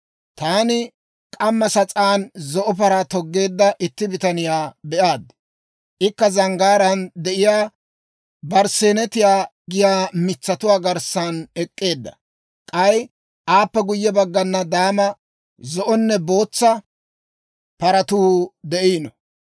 Taani k'amma sas'aan zo'o paraa toggeedda itti bitaniyaa be'aad; ikka zanggaaraan de'iyaa barsseenetiyaa giyaa mitsatuwaa garssan ek'k'eedda; k'ay aappe guyye baggana daama, zo'onne bootsa paratuu de'iino.